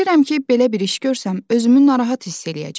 Bilirəm ki, belə bir iş görsəm özümü narahat hiss eləyəcəm.